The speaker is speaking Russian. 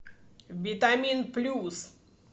витамин плюс